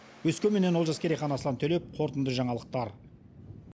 өскеменнен олжас керейхан аслан төлеп қорытынды жаңалықтар